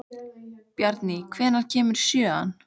Bjarný, hvenær kemur sjöan?